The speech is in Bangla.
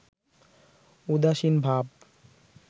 উদাসীন ভাব